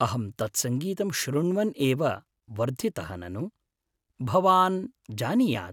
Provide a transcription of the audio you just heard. अहं तत्संगीतं शृण्वन् एव वर्धितः ननु, भवान् जानीयात्।